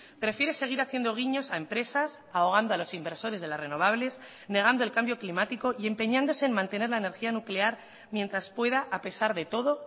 prefiere seguir haciendo guiños a empresas ahogando a los inversores de las renovables negando el cambio climático y empeñándose en mantener la energía nuclear mientras pueda a pesar de todo